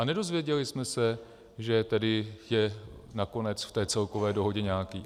A nedozvěděli jsme se, že tedy je nakonec v té celkové dohodě nějaký.